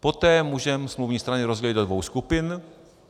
Poté můžeme smluvní strany rozdělit do dvou skupin.